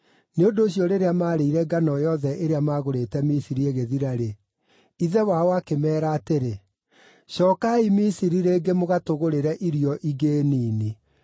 Nĩ ũndũ ũcio rĩrĩa maarĩire ngano yothe ĩrĩa maagũrĩte Misiri ĩgĩthira-rĩ, ithe wao akĩmeera atĩrĩ, “Cookai Misiri rĩngĩ mũgatũgũrĩre irio ingĩ nini.”